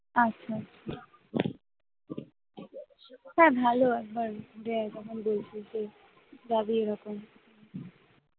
আচ্ছা, আচ্ছা তা ভালো একবার